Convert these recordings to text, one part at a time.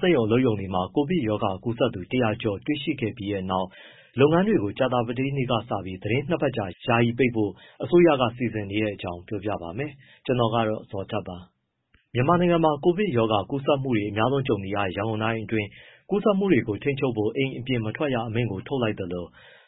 စက်ရုံအလုပ်ရုံတွေမှာ ကိုဗစ်ရောဂါကူးစက်သူ ၁၀၀ ကျော်တွေ့ရှိခဲ့ပြီးနောက် လုပ်ငန်းတွေကို ကြာသပတေးနေ့က စပြီး သီတင်း ၂ ပတ်ကြာ ယာယီပိတ်ဖို့ အစိုးရက စီစဉ်နေတဲ့အကြောင်းကို ဗွီအိုအေမြန်မာပိုင်းသတင်းထောက် ကိုဇော်ထက်က ပြောပြပါမယ်။ မြန်မာနိုင်ငံမှာ ကိုဗစ်ရောဂါ ကူးစက်မှုတွေ အများဆုံးကြုံနေရတဲ့ ရန်ကုန်တိုင်းအတွင်း ကူးစက်မှုတွေကို ထိန်းချုပ်ဖို့ အိမ်ပြင်မထွက်ရ အမိန့်ထုတ်လိုက်သလို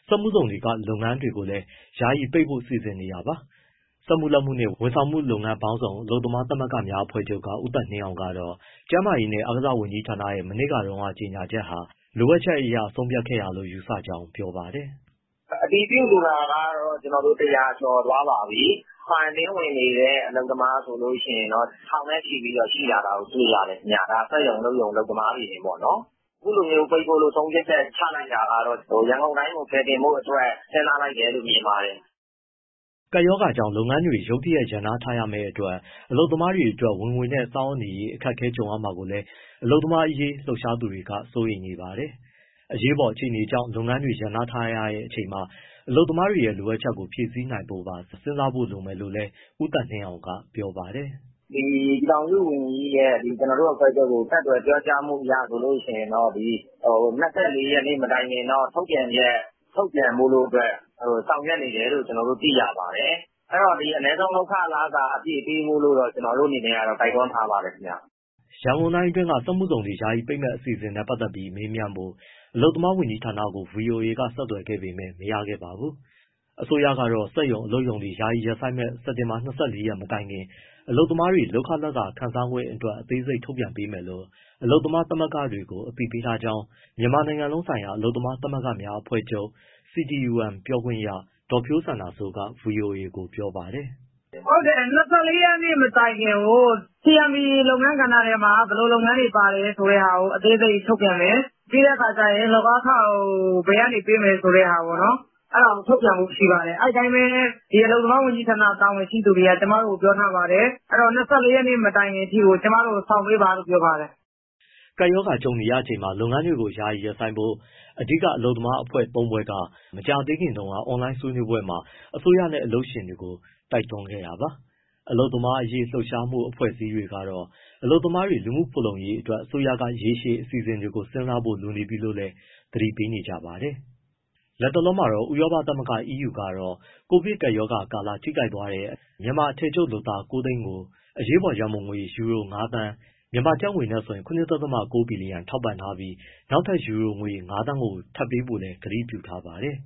စက်မှုဇုန်တွေက လုပ်ငန်းတွေကိုလည်း ယာယီပိတ်ဖို့ စီစဉ်နေတာပါ။ စက်မှုလက်မှုနှင့် ဝန်ဆောင်မှုလုပ်ငန်း ပေါင်းစုံ အလုပ်သမားသမဂ္ဂများ အဖွဲ့ချုပ်က ဦးသက်နှင်းအောင်ကတော့ ကျန်းမာရေးနဲ့ အားကစားဝန်ကြီးဌာနရဲ့ မနေ့တုန်းက ကြေညာချက်ဟာ လိုအပ်ချက်အရ ဆုံးဖြတ်ခဲ့တာလို့ ယူဆကြောင်း ပြောပါတယ်။ “အတည်ပြုလူနာကတော့ ၁၀၀ ကျော်သွားပါပြီ၊ quarantine ဝင်နေတဲ့ အလုပ်သမားဆိုရင် ထောင်နဲ့ချီပြီး ရှိလာတာ တွေ့ရတယ်ခင်ဗျ။ ဒါ စက်ရုံ၊ အလုပ်ရုံ အလုပ်သမားတွေတင်ပေါ့နော်။ အခုလိုပိတ်ဖို့ ဆုံးဖြတ်ချက် ချလိုက်တာကတော့ ရန်ကုန်တိုင်းကို ကယ်တင်ဖို့အတွက် စဉ်းစားလိုက်တယ်လို့ မြင်ပါတယ်။” ကပ်ရောဂါကြောင့် လုပ်ငန်းတွေ ရုတ်တရက် ရပ်နားထားရမယ့်အတွက် အလုပ်သမားတွေအတွက် ဝင်ငွေနဲ့ စားဝတ်နေရေးအတွက် အခက်အခဲ ကြုံရမှာကိုလည်း အလုပ်သမားရေး လှုပ်ရှားသူတွေ စိုးရိမ်နေပါတယ်။ အရေးပေါ် အခြေအနေကြောင့် လုပ်ငန်းတွေ ရပ်နားထားရတဲ့ အချိန်မှာ အလုပ်သမားတွေရဲ့ လိုအပ်ချက်တွေကို ဖြည့်ဆည်းနိုင်ဖို့ပါ စဉ်းစားဖို့ လိုမယ်လို့လည်း ဦးသက်နှင်းအောင်က ပြောပါတယ်။ “ပြည်ထောင်စုဝန်ကြီး ကျနော်တို့ အဖွဲ့ချုပ်ကို ဆက်သွယ် ပြောကြားမှုအရဆိုရင် ၂၄ ရက်မတိုင်ခင်တော့ ထုတ်ပြန်ချက် ထုတ်ပြန်ဖို့ ဆောင်ရွက်နေတယ်လို့ သိရပါတယ်။ အဲဒီတော့ အနည်းဆုံးလုပ်ခလစာ အပြည့်ပေးဖို့တော့ ကျနော်တို့ အနေနဲ့ကတော့ တိုက်တွန်း ထားပါတယ်ခင်ဗျ။” ရန်ကုန်တိုင်းအတွင်း စက်မှုဇုန်တွေ ယာယီပိတ်မယ့် အစီအစဉ်နဲ့ ပတ်သက်ပြီး မေးမြန်းဖို့ အလုပ်သမားဝန်ကြီးဌာနကို ဗွီအိုအေက ဆက်သွယ်ခဲ့ပေမဲ့ မရခဲ့ပါဘူး။ အစိုးရကတော့ စက်ရုံ၊ အလုပ်ရုံတွေ ယာယီရပ်ဆိုင်းမယ့် စက်တင်ဘာ ၂၄ ရက်နေ့ မတိုင်ခင် အလုပ်သမားတွေ လုပ်ခလစာခံစားခွင့်အတွက် အသေးစိတ်ထုတ်ပြန်ပေးမယ်လို့ အလုပ်သမားသမဂ္ဂတွေကို အသိပေးထားကြောင်း မြန်မာနိုင်ငံလုံးဆိုင်ရာအလုပ်သမားသမဂ္ဂများအဖွဲ့ချုပ် CTUM ပြောခွင့်ရ ဒေါ်ဖြိုးစန္ဒာစိုးက ဗွီအိုအေကို ပြောပါတယ်။ “၂၄ ရက် မတိုင်ခင်ကို CMP (အထည်ချုပ်) လုပ်ငန်းကဏ္ဍထဲမှာ ဘယ်လိုလုပ်ငန်းတွေပါလဲဆိုတာကို အသေးစိတ်ထုတ်ပြန်မယ်၊ ပြီးတဲ့အခါကျရင် လုပ်အားခကို ဘယ်ကနေပေးမယ်ဆိုတဲ့ဟာကို အဲဒါကိုထုတ်ပြန်ဖို့ရှိပါတယ်၊ အဲဒီအတိုင်းပဲ အလုပ်သမားဝန်ကြီးဌာန တာဝန်ရှိသူတွေက ကျမတို့ကို ပြောထားပါတယ်။ အဲဒီတော့ ၂၄ ရက်မတိုင်ခင်အထိကို ကျမတို့ကို စောင့်ပေးပါလို့ ပြောပါတယ်။” ကပ်ရောဂါ ကြုံနေရချိန်မှာ လုပ်ငန်းတွေကို ယာယီရပ်ဆိုင်းဖို့ အဓိက အလုပ်သမားသမဂ္ဂ ၃ ဖွဲ့က မကြာသေးခင်တုန်းက အွန်လိုင်းဆွေးနွေးပွဲမှာ အစိုးရနဲ့ အလုပ်ရှင်တွေကို တိုက်တွန်းခဲ့တာပါ။ အလုပ်သမားရေး လှုပ်ရှားမှု အဖွဲ့အစည်းတွေကတော့ အလုပ်သမားတွေ လူမှုဖူလုံရေးအတွက် အစိုးရက ရေရှည်အစီအစဉ်တွေကို စဉ်းစားဖို့ လိုအပ်နေပြီလို့လည်း သတိပေးနေကြပါတယ်။ လတ်တလောမှာတော့ ဥရောပသမဂ္ဂ EU ကတော့ ကိုဗစ်ကပ်ရောဂါကာလ ထိခိုက်သွားတဲ့ မြန်မာ အထည်ချုပ်လုပ်သား ၉၀၀,၀၀၀ ကို အရေးပေါ်ရန်ပုံငွေ ယူရို ၅,၀၀၀,၀၀၀ (ကျပ်ငွေ ၇.၉ ဘီလီယံ) ထောက်ပံ့ထားပြီး နောက်ထပ် ယူရို ၅,၀၀၀,၀၀၀ ပေးဖို့လည်း ကတိပြုထားပါတယ်